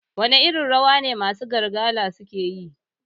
Wane irin rawa ne masu Bargalar suke yi?